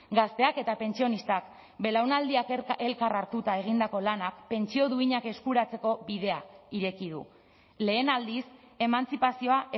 gazteak eta pentsionistak belaunaldi elkar hartuta egindako lanak pentsio duinak eskuratzeko bidea ireki du lehen aldiz emantzipazioa